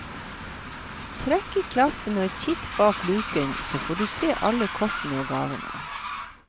Trekk i klaffen og kikk bak luken, så får du se alle kortene og gavene.